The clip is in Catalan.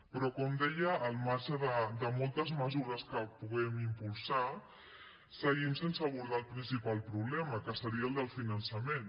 però com deia al marge de moltes mesures que puguem impulsar seguim sense abordar el principal problema que seria el del finançament